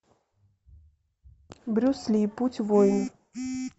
брюс ли путь воина